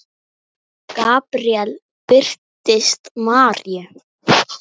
Gabríel birtist Maríu